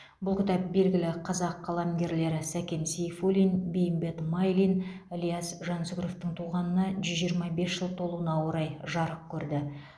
бұл кітап белгілі қазақ қаламгерлері сәкен сейфуллин бейімбет майлин ілияс жансүгіровтың туғанына жүз жиырма бес жыл толуына орай жарық көрді